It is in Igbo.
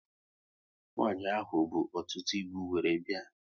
Nwanyi ahụ bụ ọtụtụ ịbụ wéré bịa